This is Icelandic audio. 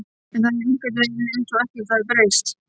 En það er einhvern veginn einsog ekkert hafi breyst.